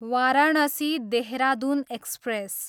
Varanasi, Dehradun express